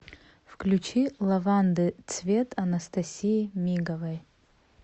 включи лаванды цвет анастасии миговой